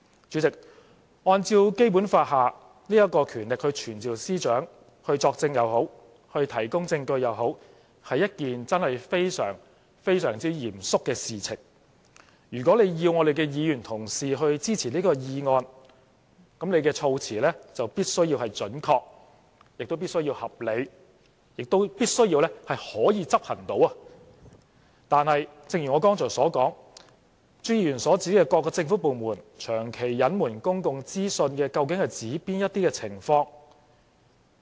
主席，按照《基本法》有關權力傳召司長，不論是作證或提供證據，都真正是非常、非常嚴肅的事情，如果要議員同事支持這項議案，朱議員的措辭必須準確、合理，而且必須是可以執行，但正如我剛才所說，朱議員所指的"各政府部門長期隱瞞公共資訊"，究竟是指哪些情況？